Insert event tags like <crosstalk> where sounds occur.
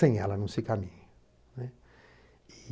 <unintelligible> ela não se caminha.